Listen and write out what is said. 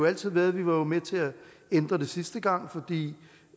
altid været vi var jo med til at ændre det sidste gang fordi